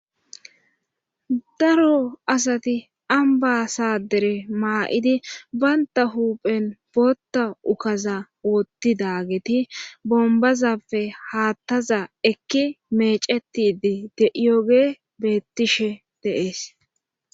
daro asati ambasaadere maa7idi baynta huuphen bootta ukaza wottidageti bombazappe haattaza ekki mecetidi deiyoge bettishe deees